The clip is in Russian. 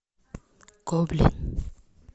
гоблин